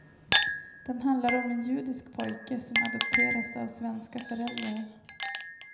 Den handlar om en judisk pojke som adopteras av svenska föräldrar.